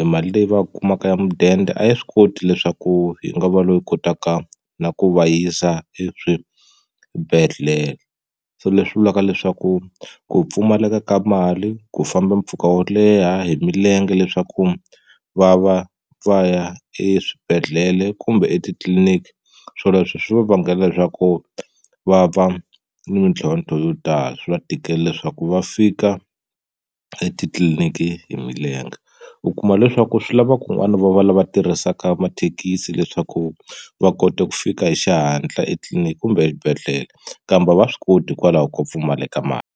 e mali leyi va yi kumaka ya mudende a yi swi koti leswaku yi nga va loyi kotaka na ku va yisa eswibedhlele so leswi vulaka leswaku ku pfumaleka ka mali ku famba mpfhuka wo leha hi milenge leswaku va va va ya eswibedhlele kumbe etitliliniki swoleswo swi va vangela leswaku va va ni mintlhontlho yo tala swi va tikela leswaku va fika etitliliniki hi milenge u kuma leswaku swi lava kun'wani va va lava tirhisaka mathekisi leswaku va kota ku fika hi xihatla etliliniki kumbe exibedhlele kambe a va swi koti hikwalaho ko pfumalaka mali.